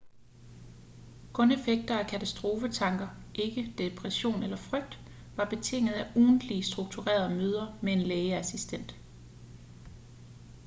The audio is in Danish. kun effekter af katastrofetanker ikke depression eller frygt var betinget af ugentlige strukturerede møder med en lægeassistent